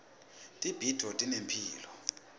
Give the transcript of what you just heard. tibhidvo tinemphilo